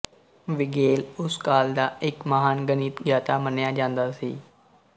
ਵੀਗੇਲ ਉਸ ਕਾਲ ਦਾ ਇੱਕ ਮਹਾਨ ਗਣਿਤਗਿਆਤਾ ਮੰਨਿਆ ਜਾਂਦਾ ਸੀ